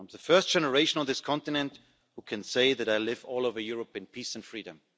I'm the first generation of this continent who can say that I live all over Europe in peace and freedom.